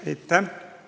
Aitäh!